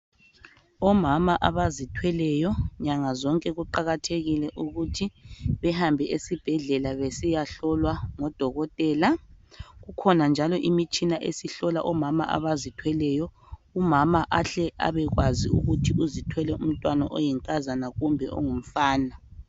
Omama abazithweleyo nyanga zonke kuqakathekile ukuthi behambe esibhedlela besiya hlolwa ngodokotela kukhona njalo imitshina esihlola omama abazithweleyo umama ahle abekwazi ukuthi uzithwele umntwana oyinkazana kumbe ongumfana.